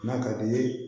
N'a ka d'i ye